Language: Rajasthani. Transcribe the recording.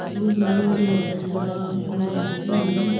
धुब लगायेड़ी है एकदम बराबर में सही है।